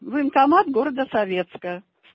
военкомат города советская